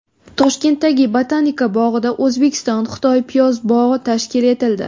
Toshkentdagi Botanika bog‘ida O‘zbekiston-Xitoy piyoz bog‘i tashkil etildi.